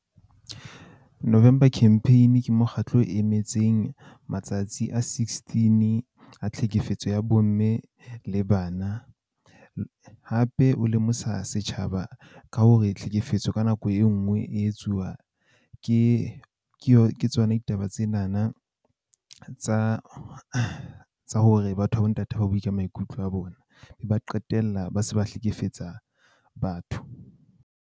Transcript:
November Campaign ke mokgatlo o emetseng matsatsi a sixteen a tlhekefetso ya bo mme le bana. Hape o lemosa setjhaba ka hore tlhekefetso ka nako e nngwe e etsuwa ke, ke ke tsona ditaba tsena na tsa, tsa hore batho ba bo ntate, ha bue ka maikutlo a bona. Ba qetella ba se ba hlekefetsa batho.